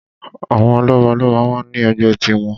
Àwọn lọ́balọ́ba máa ń ní ẹgbẹ́ tiwọn.